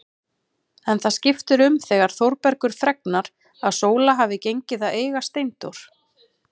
En það skiptir um þegar Þórbergur fregnar að Sóla hafi gengið að eiga Steindór.